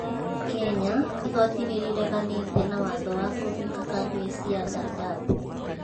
Kenya:Igoti nĩrĩreganitĩ na watho wa kũhinga kambĩ cia Dadaab